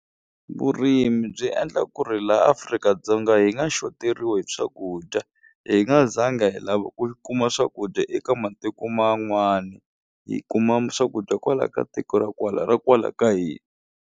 Vurimi byi endla ku ri la Afrika-Dzonga hi nga xoteriwi hi swakudya hi nga zanga hi lava ku kuma swakudya eka matiko man'wani hi kuma swakudya kwala ka tiko ra kwala ra kwala ka hina.